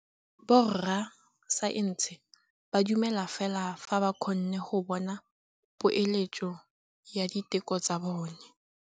Borra saense ba dumela fela fa ba kgonne go bona poeletsô ya diteko tsa bone.